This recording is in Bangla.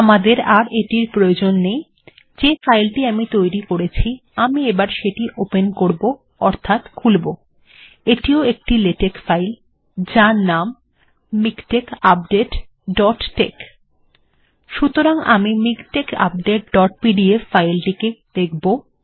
আমাদের এখন আর এটির প্রয়োজন নেই যে ফাইলটি আমি তৈরী করেছি আমি এবার সেটি ওপেন করব অর্থাৎ খুলব এটিও একটি লেটেক্ ফাইল যার নাম মিকটেক্স আপডেট ডট টেক্স সুতরাং আমি মিকটেক্স আপডেট ডট পিডিএফ ফাইলটিকে দেখব